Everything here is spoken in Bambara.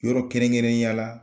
Yɔrɔ kɛrɛn kɛrɛnya la